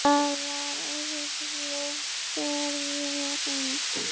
Það var erfið ferðin heim.